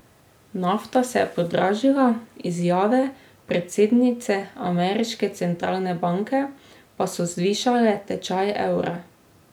Nafta se je podražila, izjave predsednice ameriške centralne banke pa so zvišale tečaj evra.